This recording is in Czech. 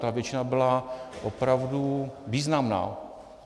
Ta většina byla opravdu významná.